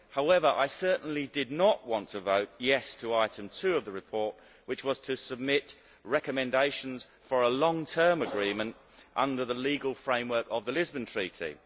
However, I certainly did not want to vote in favour of paragraph 2 of the report, which was to submit recommendations for a long term agreement under the legal framework of the Lisbon Treaty.